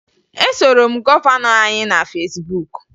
E soro m gọvanọ anyị na Fesbuk